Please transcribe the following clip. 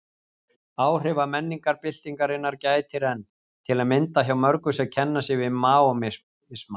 Áhrifa menningarbyltingarinnar gætir enn, til að mynda hjá mörgum sem kenna sig við Maóisma.